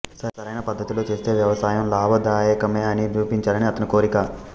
సరైన పద్ధతిలో చేస్తే వ్యవసాయం లాభదాయకమే అని నిరూపించాలని అతని కోరిక